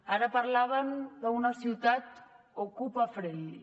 ara parlaven d’una ciutat ocupa friendly